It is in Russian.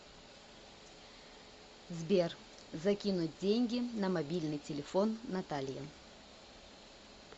сбер закинуть деньги на мобильный телефон наталье